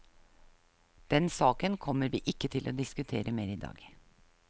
Den saken kommer vi ikke til å diskutere mer i dag.